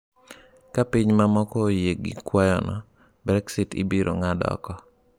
Ka pinje mamoko oyie gi kwayono, Brexit ibiro ng’ad oko.